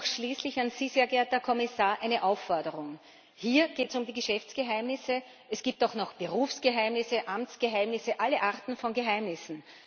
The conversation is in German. Schließlich an Sie, sehr geehrter Herr Kommissar, noch eine Aufforderung Hier geht es um die Geschäftsgeheimnisse. Es gibt auch noch Berufsgeheimnisse, Amtsgeheimnisse, alle Arten von Geheimnissen.